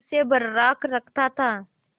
उसे बर्राक रखता था